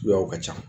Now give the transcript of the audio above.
Suguyaw ka ca